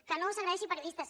que no s’agredeixi periodistes